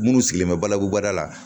Minnu sigilen bɛ balabu baara la